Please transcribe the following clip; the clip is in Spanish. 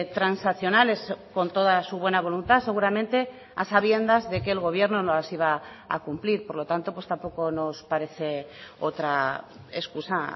transaccionales con toda su buena voluntad seguramente a sabiendas de que el gobierno no las iba a cumplir por lo tanto pues tampoco nos parece otra excusa